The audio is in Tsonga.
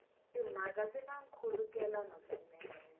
timhaka swi na nkhulukelano swinene